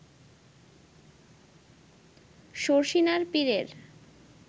শর্ষিনার পীরের